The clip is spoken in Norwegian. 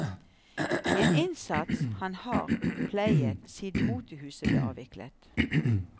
En innsats han har pleiet siden motehuset ble avviklet.